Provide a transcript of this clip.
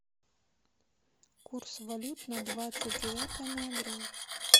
курс валют на двадцать девятое ноября